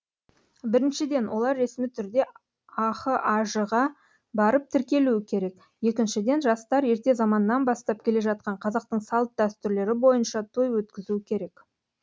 біріншіден олар ресми түрде ахаж ға барып тіркелуі керек екіншіден жастар ерте заманнан бастап келе жатқан қазақтың салт дәстүрлері бойынша той өткізуі керек